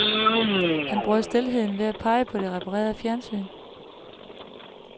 Han brød stilheden ved at pege på det reparerede fjernsyn.